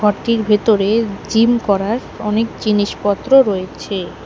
ঘরটির ভেতরে জিম করার অনেক জিনিসপত্র রয়েছে।